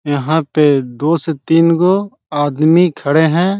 यहाँ पे दो से तीन गो आदमी खड़े है।